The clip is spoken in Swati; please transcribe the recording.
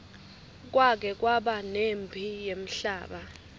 kwake kwaba nemphi yemhlaba